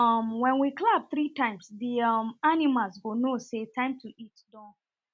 um wen we clap three times the um animals go know say time to eat don